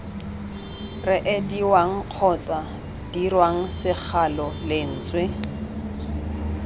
reediwang kgotsa dirwang segalo lentswe